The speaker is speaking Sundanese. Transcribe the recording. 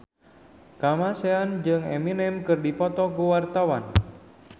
Kamasean jeung Eminem keur dipoto ku wartawan